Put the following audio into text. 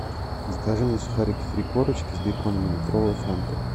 закажи мне сухарики три корочки с беконом и литровую фанту